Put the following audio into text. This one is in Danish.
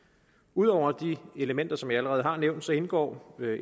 ud over de elementer som jeg allerede har nævnt indgår